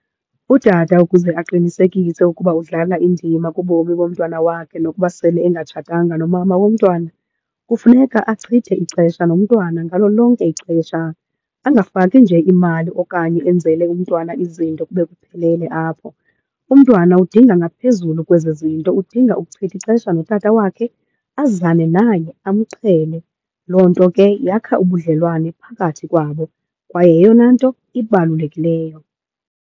Utata ukuze aqinisekise ukuba udlala indima kubomi bomntwana wakhe nokuba sele engatshatanga nomama womntwana kufuneka achithe ixesha nomntwana ngalo lonke ixesha, angafaki nje imali okanye enzele umntwana izinto kube kuphelele apho. Umntwana udinga ngaphezulu kwezo zinto, udinga ukuchitha ixesha notata wakhe azane naye amqhele. Loo nto ke yakha ubudlelwane phakathi kwabo kwaye yeyona nto ibalulekileyo.